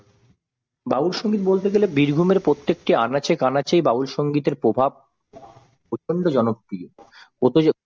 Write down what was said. বাউল সংগীত বলতে গেলে বীরভূমের প্রত্যেকটি আনাচে কানাচে বাউল সংগীতের প্রভাব প্রচন্ড জনপ্রিয়।